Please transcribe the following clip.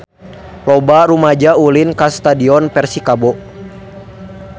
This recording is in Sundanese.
Loba rumaja ulin ka Stadion Persikabo